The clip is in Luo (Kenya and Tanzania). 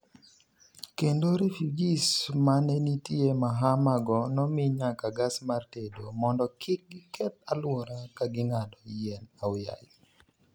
kendo refujis mane nitie Mahama go nomi nyaka gas mar tedo mondo kik giketh aluora kaging'ado yien aoyaye